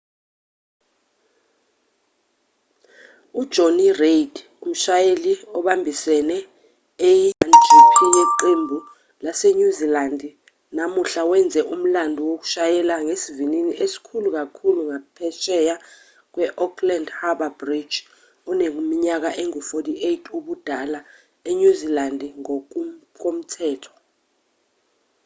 ujonny reid umshayeli obambisene a1gp yeqembu lasenyuzilandi namuhla wenze umlando ngokushayela ngesivinini esikhulu kakhulu ngaphesheya kwe-auckland harbour bridge eneminyaka engu-48 ubudala enyuzilandi ngokomthetho